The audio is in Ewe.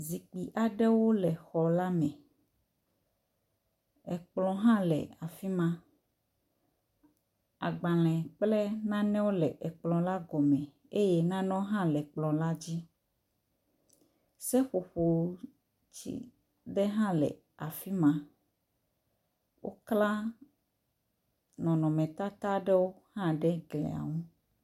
Zikpui aɖewo le xɔ la me. Ekplɔ hã le afi ma. Agbalẽ kple nanewo le ekplɔ la gɔme eye nanewo hã le ekplɔ la dzi. Seƒoƒo tsi de hã le afi ma. Wokla nɔnɔmetata aɖewo hã ɖe glia ŋu.